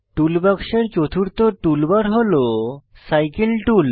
টুল বাক্সের চতুর্থ টুলবার হল সাইকেল টুল